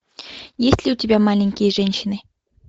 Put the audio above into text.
есть ли у тебя маленькие женщины